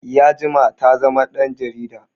Ya jima ta zama ɗan jarida